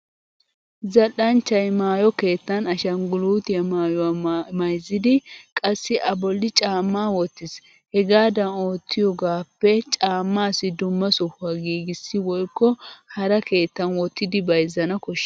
Zal'anchchay maayo keettan ashangguluutiya maayyuwa mayzzidi qassi a bolli caammaa wottis. Hegaadan oottiyogaappe caammaassi dumma sohuwa giigissi woykko hara keettan wottidi bayzzana koshshes.